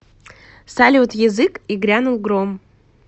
салют язык и грянул гром